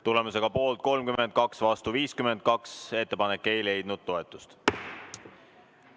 Tulemusega poolt 32 ja vastu 52 ei leidnud ettepanek toetust.